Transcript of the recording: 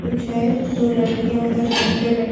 कुछ है दो लडकियाँ उधर बेड पे बैठ --